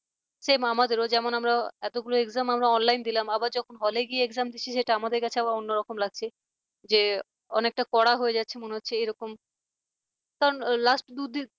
same আমাদেরও যেমন আমরা এতগুলো exam আমরা online দিলাম আবার যখন hall কি exam দিচ্ছি সেটা আবার আমাদের কাছে অন্যরকম লাগছে যে অনেকটা করা হয়ে যাচ্ছে মনে হচ্ছে এরকম তখন last দু